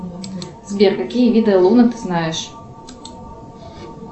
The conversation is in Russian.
сбер какие виды луна ты знаешь